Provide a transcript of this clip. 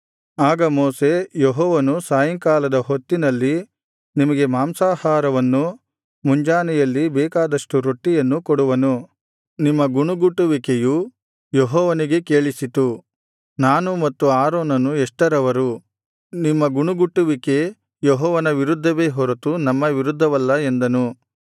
ಆಗ ಮೋಶೆ ಯೆಹೋವನು ಸಾಯಂಕಾಲದ ಹೊತ್ತಿನಲ್ಲಿ ನಿಮಗೆ ಮಾಂಸಾಹಾರವನ್ನೂ ಮುಂಜಾನೆಯಲ್ಲಿ ಬೇಕಾದಷ್ಟು ರೊಟ್ಟಿಯನ್ನೂ ಕೊಡುವನು ನಿಮ್ಮ ಗುಣುಗುಟ್ಟುವಿಕೆಯು ಯೆಹೋವನಿಗೆ ಕೇಳಿಸಿತು ನಾನು ಮತ್ತು ಆರೋನನು ಎಷ್ಟರವರು ನಿಮ್ಮ ಗುಣುಗುಟ್ಟುವಿಕೆ ಯೆಹೋವನ ವಿರುದ್ಧವೇ ಹೊರತು ನಮ್ಮ ವಿರುದ್ಧವಲ್ಲ ಎಂದನು